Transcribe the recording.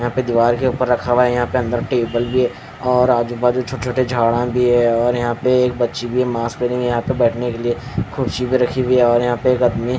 यह पे दीवार के ऊपर रखा हुआ है यहाँ पे अंदर टेबल भी है और आजुबाजु छोटे छोटे झाडां भी है और यहाँ पे एक बच्ची भी है मास्क पेहनी हुयी यहाँ पर बैठने के लिए खुर्ची भी रखी गयी है।